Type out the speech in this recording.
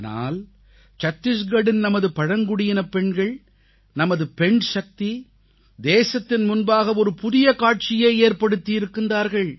ஆனால் சத்திஸ்கரின் நமது பழங்குடியினப் பெண்கள் நமது பெண்சக்தி தேசத்தின் முன்பாக ஒரு புதிய காட்சியை ஏற்படுத்தியிருக்கிறார்கள்